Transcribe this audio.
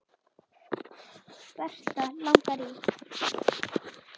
Berta langar í.